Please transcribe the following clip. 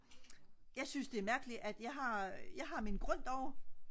jeg synes det er mærkeligt at jeg har min grund derovre